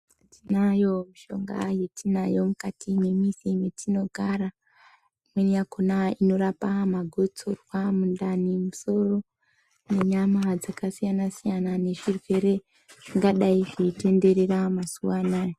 Tinayo mishonga yatinayo mukati memizi metinogara. Imweni yakona inorapa magotsorwa, mundani, musoro nenyama dzakasiyana-siyana nezvirwere zvingadai zveitenderera mazuva anaya.